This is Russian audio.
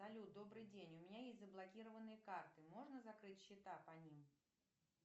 салют добрый день у меня есть заблокированные карты можно закрыть счета по ним